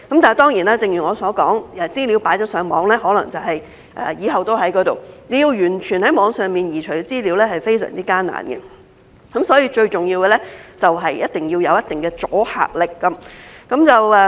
但是，正如我所說，資料上傳了互聯網，可能以後都在那裏，要完全移除在網上的資料是非常艱難，所以，最重要的是必須要有一定的阻嚇力。